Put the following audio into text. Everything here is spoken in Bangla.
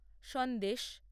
সন্দেশ